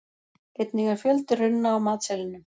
Einnig er fjöldi runna á matseðlinum.